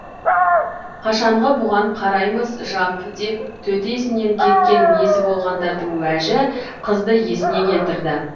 қашанғы бұған қараймыз жап деп төтесінен кеткен мезі болғандардың уәжі қызды есіне келтірді